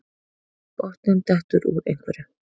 Botninn dettur úr einhverju